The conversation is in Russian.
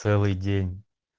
целый день